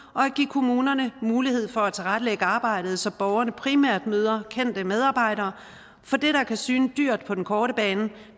kommunerne mulighed for at tilrettelægge arbejdet så borgerne primært møder kendte medarbejdere for det der kan syne dyrt på den korte bane